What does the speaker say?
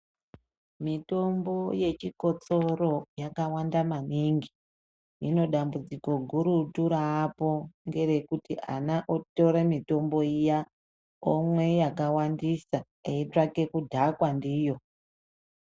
Mitombo yechikososro yakawanda maningi , dambudziko guru raapo ngerekuti ana adoko otore mitombo iya omwa yakawandisa aitsvake kudhakwa ndiyo.